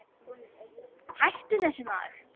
Hættu þessu maður!